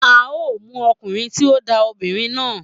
A o mu okunrin ti o na omobirin na.